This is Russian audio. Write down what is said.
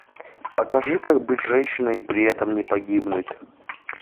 покажи как быть женщиной и при этом не погибнуть